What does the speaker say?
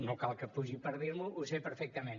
no cal que pugi per dir m’ho ho sé perfectament